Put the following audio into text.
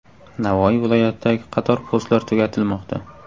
Navoiy viloyatidagi qator postlar tugatilmoqda.